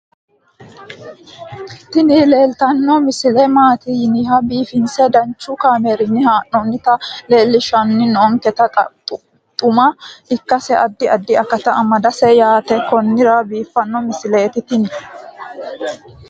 tini leeltanni noo misile maaati yiniro biifinse danchu kaamerinni haa'noonnita leellishshanni nonketi xuma ikkase addi addi akata amadaseeti yaate konnira biiffanno misileeti tini